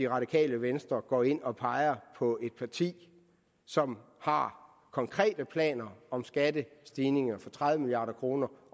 radikale venstre går ind og peger på et parti som har konkrete planer om skattestigninger for tredive milliard kroner